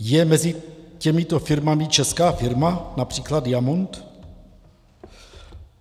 Je mezi těmito firmami česká firma, například Diamont?